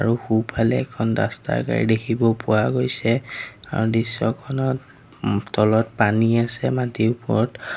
আৰু সোঁফালে এখন ডাষ্টাৰ গাড়ী দেখিব পোৱা গৈছে আৰু দৃশ্যখনত ওম তলত পানী আছে মাটিৰ ওপৰত।